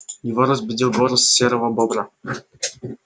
его разбудил голос серого бобра